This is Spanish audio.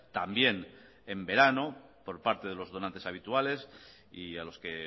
también en verano por parte de los donantes habituales y a los que